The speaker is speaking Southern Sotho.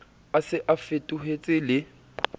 a se a fetohetse le